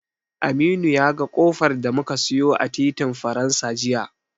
Aminu ya ga ƙofar da muka siyo a titin Faransa jiya.